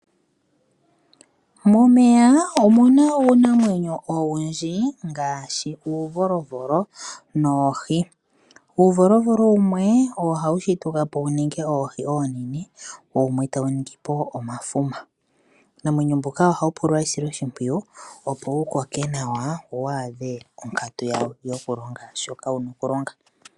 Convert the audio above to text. Momeya omuna wo uunamwenyo owundji ngaashi uuvolovolo noohi, uuvolovolo wumwe ohawu shituka po wu ninge oohi onene wumwe tawu ningi po omafuma uunamwenyo mbuka ohawu pula esiloshimpwiyu opo koke nawa wo wu adhe onkatu yawo shoka yena okulonga.